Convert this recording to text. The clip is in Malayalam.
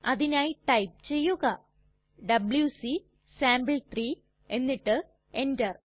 അതിനായി ടൈപ്പ് ചെയ്യുക ഡബ്ല്യൂസി സാംപിൾ3 എന്നിട്ട് എന്റർ